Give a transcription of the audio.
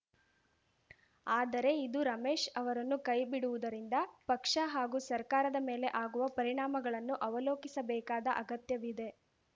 ಆದರೆ ಇದು ರಮೇಶ್‌ ಅವರನ್ನು ಕೈ ಬಿಡುವುದರಿಂದ ಪಕ್ಷ ಹಾಗೂ ಸರ್ಕಾರದ ಮೇಲೆ ಆಗುವ ಪರಿಣಾಮಗಳನ್ನು ಅವಲೋಕಿಸಬೇಕಾದ ಅಗತ್ಯವಿದೆ